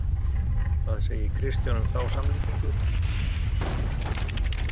Hvað segir Kristján um á samlíkingu?